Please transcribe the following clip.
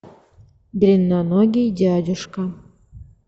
длинноногий дядюшка